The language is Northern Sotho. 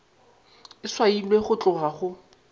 e swailwe go tloga go